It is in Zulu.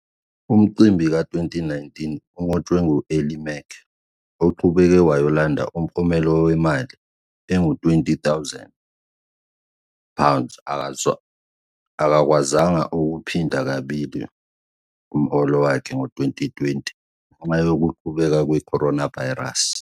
Umcimbi ka-2019 unqotshwe ngu-Ellie Mac oqhubeke wayolanda umklomelo wemali engu-20,000 akakwazanga ukuphinda kabili umholo wakhe ngo-2020 ngenxa yokuqubuka kwe-coronavirus.